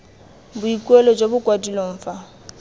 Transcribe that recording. boikuelo jo bo kwadilweng fa